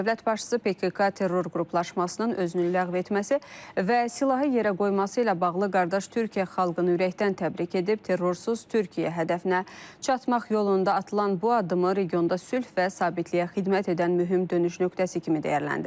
Dövlət başçısı PKK terror qruplaşmasının özünü ləğv etməsi və silahı yerə qoyması ilə bağlı qardaş Türkiyə xalqını ürəkdən təbrik edib, terrorsuz Türkiyə hədəfinə çatmaq yolunda atılan bu addımı regionda sülh və sabitliyə xidmət edən mühüm dönüş nöqtəsi kimi dəyərləndirib.